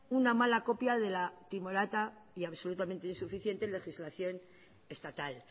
una mala copia de la timorata y absolutamente insuficiente legislación estatal